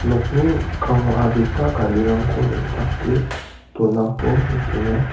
nokni mikkango adita garirangko neng·take donako nikenga.